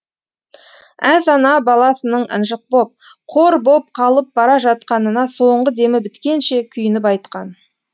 әз ана баласының ынжық боп қор боп қалып бара жатқанына соңғы демі біткенше күйініп айтқан